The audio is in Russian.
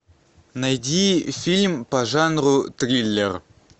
найди фильм по жанру триллер